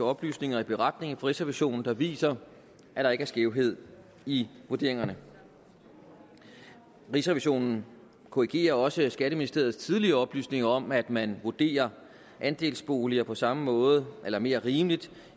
oplysninger i beretningen fra rigsrevisionen der viser at der ikke er skævhed i vurderingerne rigsrevisionen korrigerer også skatteministeriets tidligere oplysninger om at man vurderer andelsboliger på samme måde eller mere rimeligt